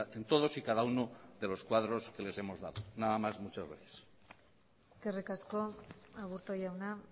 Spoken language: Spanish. en todos y cada uno de los cuadros que les hemos dado nada más muchas gracias eskerrik asko aburto jauna